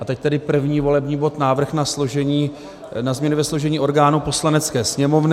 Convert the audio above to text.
A teď tedy první volební bod, Návrh na změny ve složení orgánů Poslanecké sněmovny.